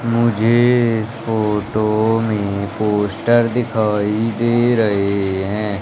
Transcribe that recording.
मुझे इस फोटो में पोस्टर दिखाई दे रहे है।